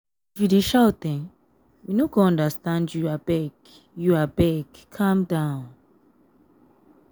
if you dey shout we um no go understand you abeg you abeg um calm um down.